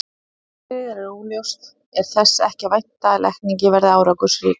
Ef markmiðið er óljóst er þess ekki að vænta að lækningin verði árangursrík.